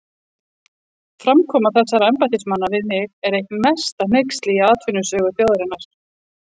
Framkoma þessara embættismanna við mig er eitt mesta hneyksli í atvinnusögu þjóðarinnar.